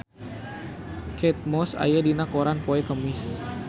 Kate Moss aya dina koran poe Kemis